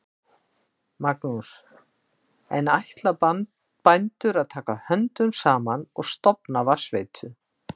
Magnús: En ætla bændur að taka höndum saman og stofna vatnsveitu?